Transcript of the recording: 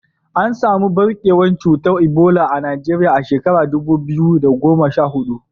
An samu ɓarkewar cutar Ebola a Najeriya a shekarar dubu biyu da goma sha hudu.